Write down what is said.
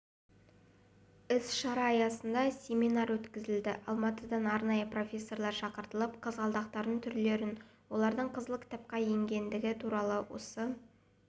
іс-шара аясында семинар өткізілді алматыдан арнайы профессорлар шақыртылып қызғалдақтардың түрлерін олардың қызыл кітапқа енгендігі туралы осы